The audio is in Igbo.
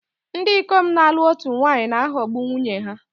Ndị ikom na-alụ otu nwaanyị na-aghọgbu nwunye ha